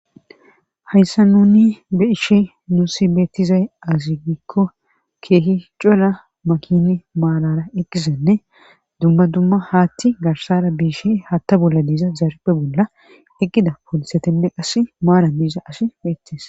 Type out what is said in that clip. hayssa nuni beishe nuusi beettizay azigikko keehi cola makini maalara eqqisenne dumma dumma haatti garsara biishe hatta bolla diiza zaaripe bolla eqqida poolisetenne qas maalan diiza asi beettes